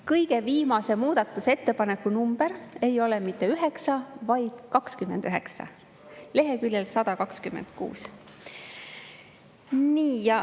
Kõige viimase muudatusettepaneku number ei ole mitte 9, vaid 29 – leheküljel 126.